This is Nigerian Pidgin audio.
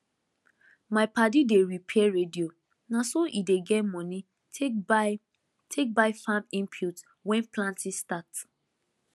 my padi dey repair radio na so e dey get money take buy take buy farm input when planting start